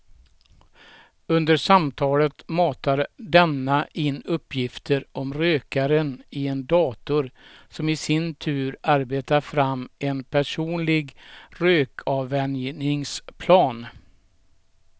Under samtalet matar denna in uppgifter om rökaren i en dator som i sin tur arbetar fram en personlig rökavvänjningsplan.